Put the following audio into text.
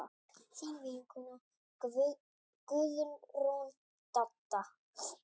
Þín vinkona Guðrún Dadda.